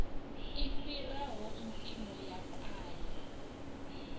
i fhiraho mpimo ya paye